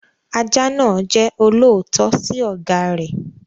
Ajá náà jẹ́ olóòótọ́ sí ọ̀gá rẹ̀.